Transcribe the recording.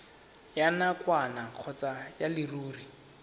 ya nakwana kgotsa ya leruri